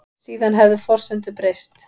Síðan hefðu forsendur breyst